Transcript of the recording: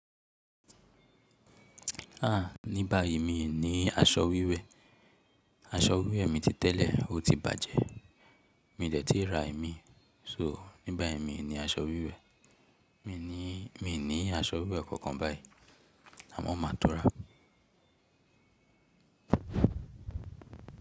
Ah! Ní báyìí mi ní aṣọ wíwẹ̀, aṣọ wíwẹ̀ mi ti tẹ́lẹ̀, ó ti bàjẹ́. Mi de tìí ra imí, so ní báyìí mi ní aṣọ wíwẹ̀. Mi ní aṣọ wíwẹ̀ kankan báyìí àmọ́ máa to ra.